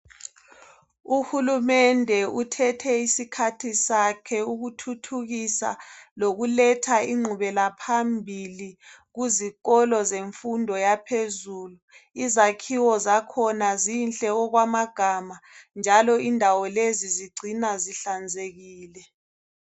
Uhulumende. uthethe isikhathi sakhe ukuthuthukisa, lokuletha ingqubelaphambili, kuzikoloi zemfundo yaphezulu. Izakhiwo zakhona zinhle okwamagama, njalo indawo. Lezi, zigcinwa zihlanzekile.